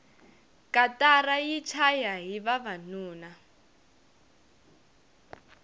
katara yi chayahi vavanuna